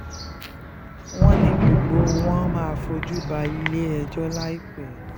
wọ́n ní gbogbo wọn máa fojú balẹ̀-ẹjọ́ láìpẹ́